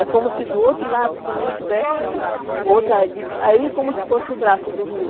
É como se do outro lado também tivesse outra ali, aí como se fosse o braço do rio.